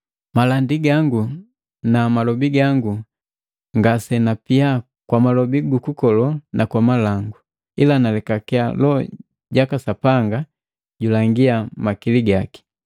Malandi gangu na malobi gangu ngasenapia kwa malobi gukukolo na kwa malango, ila nalekakiya Loho ja Sapanga julangiya makili gaki.